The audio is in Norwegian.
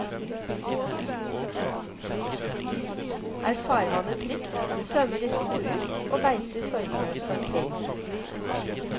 Er farvannet trygt, svømmer de små ut og beiter sorgløst omkring.